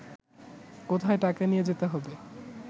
কোথায় টাকা নিয়ে যেতে হবে